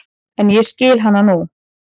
En ég skil hana nú.